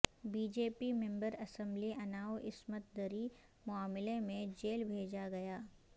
B J پی member assembly Unnao عصمت دری معاملہ میں جیل بھیجا گیا